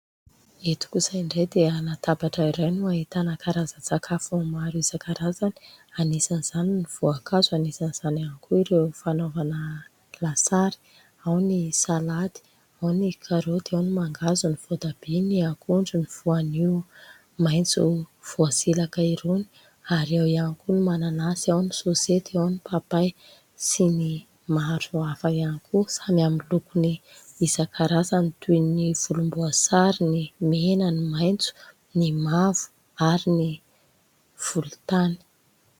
Eto kosa indray dia latabatra iray no ahitana karazan-tsakafo maro isan-karazany. Anisan'izany : ny voankazo ; anisan'izany ihany koa ireo fanaovana lasary : ao ny salady, ao ny karôty ; ao ny mangahazo ; ny voatabia, ny akondro, ny voanio maitso voasilaka irony, ary ao ihany koa ny mananasy ; ao ny sôsety ; ao ny papay sy ny maro hafa ihany koa. Samy amin'ny lokony isan-karazany toy : ny volomboasary, ny mena, ny maitso, ny mavo ary ny volontany.